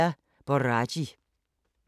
Radio24syv